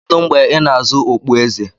Kedu mgbe ị na-azụ okpueze?